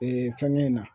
Ee fɛn ɲɛ na